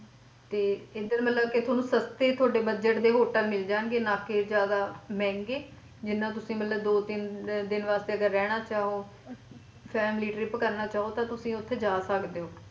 ਤੇ ਇਧਰ ਮਤਲਬ ਕਿ ਤੁਹਾਨੂੰ ਤੁਹਾਡੇ budget ਦੇ hotel ਮਿਲ ਜਾਣਗੇ ਨਾ ਕਿ ਜਿਆਦਾ ਮਹਿੰਗੇ ਜਿਹਨਾਂ ਮਤਲਬ ਤੁਸੀ ਦੋ ਤਿੰਨ ਦਿਨ ਵਾਸਤੇ ਅਗਰ ਰਹਿਣਾ ਚਾਹੋ family trip ਕਰਨਾ ਚਾਹੋ ਤੇ ਤੁਸੀ ਉੱਥੇ ਜਾ ਸਕਦੇ ਹੋ।